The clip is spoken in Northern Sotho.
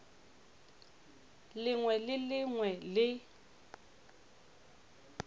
lengwe le le lengwe le